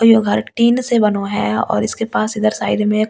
यह घर टीन से बनो है और इसके पास इधर साइड में एक कूलर ।